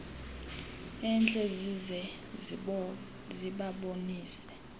entle zize zibabonise